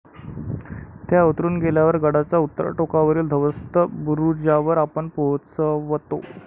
त्या उतरून गेल्यावर गडाच्या उत्तर टोकावरील ध्वस्त बुरुजावर आपण पोहचवतो.